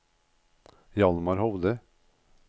Hjalmar Hovde